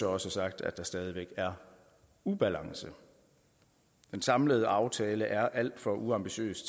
også sagt at der stadig væk er ubalance den samlede aftale er alt for uambitiøs